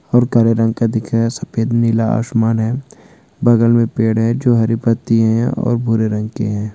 और काले रंग का दिखे हे सफेद नीला आसमान है बगल में पेड़ है जो हरी पट्टीया हैं और भूरे रंग के हैं।